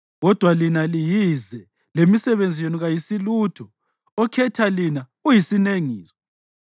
Kodwa lina liyize, lemisebenzi yenu kayisilutho, okhetha lina uyisinengiso.